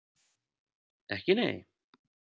Ekki nei?